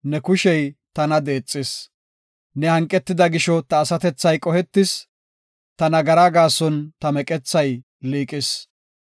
Ne hanqida gisho ta asatethay qohetis; ta nagaraa gaason ta meqethay liiqis.